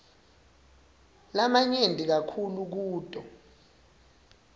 lamanyenti kakhulu kuto